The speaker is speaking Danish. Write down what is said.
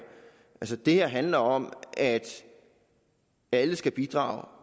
det her handler om at alle skal bidrage